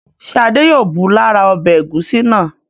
Ṣé Adé yóò bù lára ọbẹ̀ ẹ̀gúsí náà?